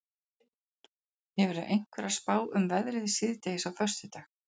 hefurðu einhverja spá um veðrið síðdegis á föstudag